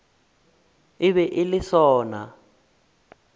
e be e le sona